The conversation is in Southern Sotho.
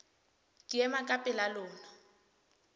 ke ema ka pela lona